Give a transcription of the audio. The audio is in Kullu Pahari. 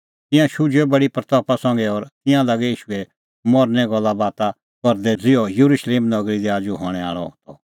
तिंयां शुझुऐ बडी महिमां संघै और तिंयां लागै ईशूए मरने गल्ला बाता करदै ज़िहअज़िहअ येरुशलेम नगरी दी आजू हणैं आल़अ त